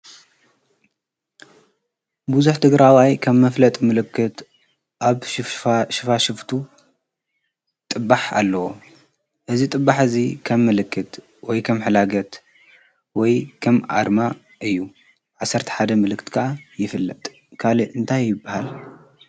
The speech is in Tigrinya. ብዙሕ ትግራዋይ ከም መፍለጢ ምልክት ኣብ ሽፋሽፍቱ ጥባሕ ኣለዎ እዚ ጥባሕ እዚ ከም ምልክት ከም ሕላገት ወይ ከም ኣርማ እዩ ብ11 ምልክት ከዓ ይፍለጥ ካሊእ እንታይ ይበሃል ?